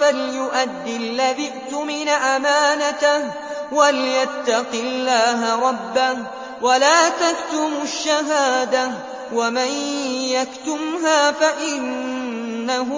فَلْيُؤَدِّ الَّذِي اؤْتُمِنَ أَمَانَتَهُ وَلْيَتَّقِ اللَّهَ رَبَّهُ ۗ وَلَا تَكْتُمُوا الشَّهَادَةَ ۚ وَمَن يَكْتُمْهَا فَإِنَّهُ